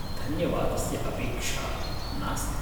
धन्यवादस्य अपेक्षा नास्ति।